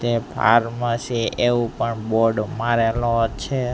તે ફાર્મસી એવુ પણ બોર્ડ મારેલો છે.